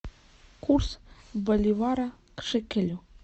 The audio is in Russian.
курс боливара к шекелю